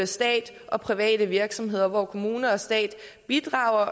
stat og private virksomheder hvor kommune og stat bidrager